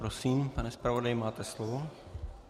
Prosím, pane zpravodaji, máte slovo.